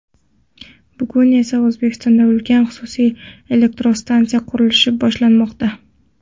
Bugun esa O‘zbekistonda ulkan xususiy elektrostansiyani qurish boshlanmoqda.